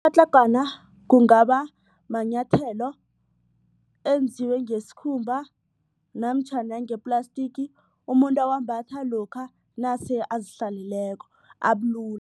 kungaba manyathelo enziwe ngesikhumba namtjhana ngeplastiki umuntu uwambatha lokha nase azihlaleleko abulula.